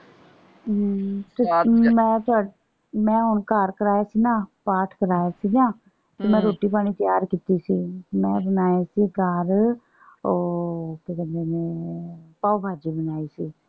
ਅਮ ਮੈਂ ਹੁਣ ਘਰ ਕਿਰਾਏ ਤੇ ਨਾ ਪਾਠ ਕਰਾਇਆ ਸੀਗਾ। ਮੈਂ ਰੋਟੀ ਪਾਣੀ ਤਿਆਰ ਕੀਤੀ ਸੀ। ਮੈਂ ਬਣਾਏ ਸੀ ਘਰ ਉਹ ਕਿ ਕਹਿੰਦੇ ਨੇ ਪਾਓ ਭਾਜੀ ਬਣਾਈ ਸੀ।